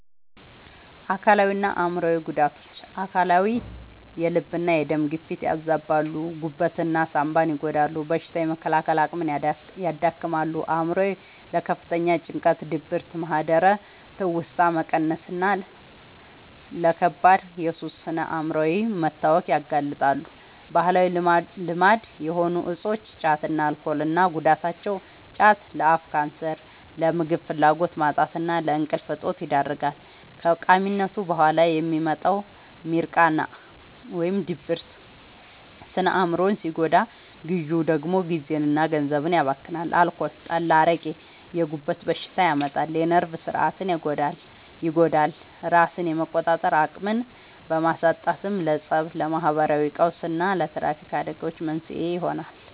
አካላዊና አእምሯዊ ጉዳቶች፦ አካላዊ፦ የልብና የደም ግፊትን ያዛባሉ፣ ጉበትና ሳንባን ይጎዳሉ፣ በሽታ የመከላከል አቅምን ያዳክማሉ። አእምሯዊ፦ ለከፍተኛ ጭንቀት፣ ድብርት፣ ማህደረ-ትውስታ መቀነስና ለከባድ የሱስ ስነ-አእምሯዊ መታወክ ያጋልጣሉ። ባህላዊ ልማድ የሆኑ እፆች (ጫትና አልኮል) እና ጉዳታቸው፦ ጫት፦ ለአፍ ካንሰር፣ ለምግብ ፍላጎት ማጣትና ለእንቅልፍ እጦት ይዳርጋል። ከቃሚነቱ በኋላ የሚመጣው «ሚርቃና» (ድብርት) ስነ-አእምሮን ሲጎዳ፣ ግዢው ደግሞ ጊዜና ገንዘብን ያባክናል። አልኮል (ጠላ፣ አረቄ)፦ የጉበት በሽታ ያመጣል፣ የነርቭ ሥርዓትን ይጎዳል፤ ራስን የመቆጣጠር አቅምን በማሳጣትም ለፀብ፣ ለማህበራዊ ቀውስና ለትራፊክ አደጋዎች መንስኤ ይሆናል።